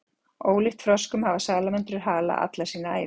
Ólíkt froskum hafa salamöndrur hala alla sína ævi.